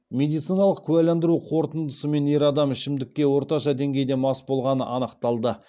медициналық куәландыру қорытындысымен ер адам ішімдікке орташа деңгейде мас болғаны анықталды